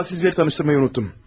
A sizləri tanışdırmayı unutdum.